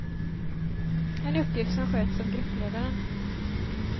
En uppgift som sköts av gruppledaren.